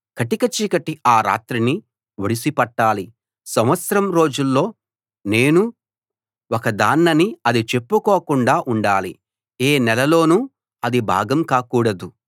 కటిక చీకటి ఆ రాత్రిని ఒడిసి పట్టాలి సంవత్సరం రోజుల్లో నేనూ ఒకదాన్నని అది చెప్పుకోకుండా ఉండాలి ఏ నెలలోనూ అది భాగం కాకూడాదు